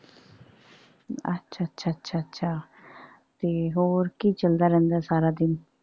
ਅੱਛਾ ਅੱਛਾ ਅੱਛਾ ਅੱਛਾ ਤੇ ਹੋਰ ਕੀ ਚਲਦਾ ਰਹਿੰਦਾ ਸਾਰਾ ਦਿਨ।